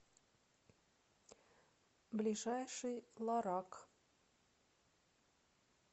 ближайший лорак